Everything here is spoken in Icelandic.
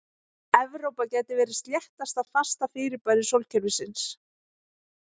Evrópa gæti verið sléttasta fasta fyrirbæri sólkerfisins.